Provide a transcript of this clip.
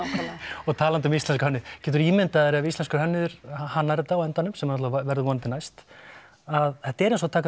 og talandi um íslenska hönnuði geturðu ímyndað þér ef íslenskur hönnuður hannar þetta á endanum sem náttúrulega verður vonandi næst að þetta er eins og að taka